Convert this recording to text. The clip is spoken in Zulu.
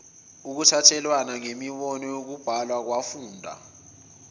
ukuthekelelana ngemibono yokubhalakwafunda